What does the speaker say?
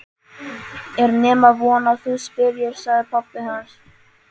Er nema von að þú spyrjir, sagði pabbi hans.